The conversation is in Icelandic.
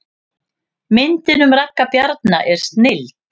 Myndin um Ragga Bjarna er snilld